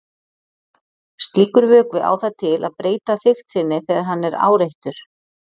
slíkur vökvi á það til að breyta þykkt sinni þegar hann er áreittur